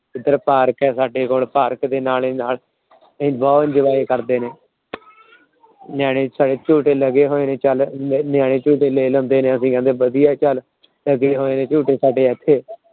ਏਧਰ ਪਾਰਕ ਹੇਗਾ ਅੱਡੇ ਕੋਲ । ਪਾਰਕ ਦੇ ਨਾਲ ਨਾਲ ਉਹ ਬਹੁਤ Enjoy ਕਰਦੇ ਨੇ। ਨਿਆਣੇ ਝੂਟੇ ਲੱਗੇ ਹੋਏ ਨੇ ਨਿਆਣੇ ਝੂਟੇ ਲੈ ਲੈਂਦੇ ਨੇ। ਅਸੀਂ ਕਹਿਣੇ ਵਧੀਆ ਚੱਲ ਅਸੀਂ ਝੂਟੇ ਸਾਡੇ ਇੱਥੇ